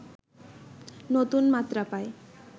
নতুন মাত্রা পায়